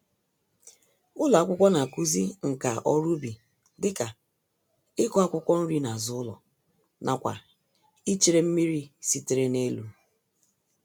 Ụlọ akwụkwọ n'akụzi nka-oru-ubi dịka, ịkụ̀ akwụkwọ-nri nazụ ụlọ, nakwa ichere mmírí sitere n'elu.